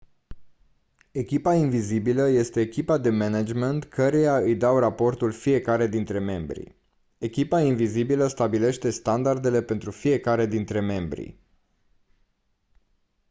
echipa invizibilă este echipa de management căreia îi dau raportul fiecare dintre membri echipa invizibilă stabilește standardele pentru fiecare dintre membri